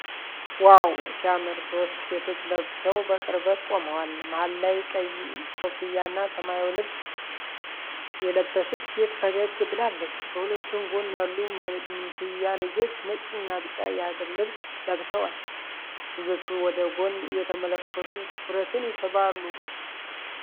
ዋው ሲያምር፣ ሶስት ሴቶች ለብሰው በቅርበት ቆመዋል። መሃል ላይ ቀይ ኮፍያና ሰማያዊ ልብስ የለበሰች ሴት ፈገግ ብላለች። በሁለቱም ጎን ያሉ መንትያ ልጆች ነጭና ቢጫ የሀገር ልብስ ለብሰዋል። ልጆቹ ወደ ጎን እየተመለከቱ ትኩረትን ይስባሉ።